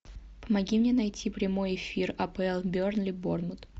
помоги мне найти прямой эфир апл бернли борнмут